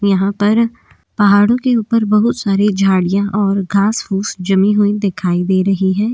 यहाँ पर पहाड़ू के ऊपर बहुत सारे झड़ियाँ और घास फूस जमी हुई दिखाई दे रही हैं।